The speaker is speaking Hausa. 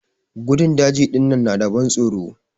Gandun daji dinnan na da ban tsoro.